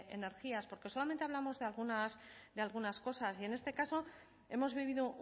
energías porque solamente hablamos de algunas cosas y en este caso hemos vivido